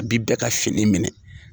Abi bɛɛ ka fini minɛ